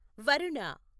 Varuna